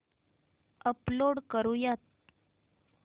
upload करुयात